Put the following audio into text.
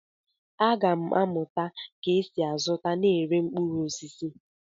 Aga m amụta ka esi azụta na ire mkpụrụ osisi.